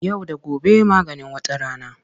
Yau da gobe maganin wata rana.